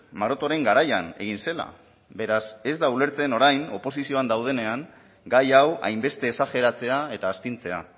marotoren garaian egin zela beraz ez da ulertzen orain oposizioan daudenean gai hau hainbeste esajeratzea eta astintzea